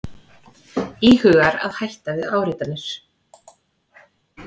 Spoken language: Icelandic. Íhugar að hætta við áritanir